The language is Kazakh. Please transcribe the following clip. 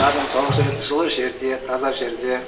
қарның тоқ жүреді жылы жерде таза жерде